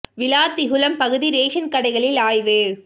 விளாத்திகுளம் பகுதி ரேஷன் கடைகளில் ஆய்வு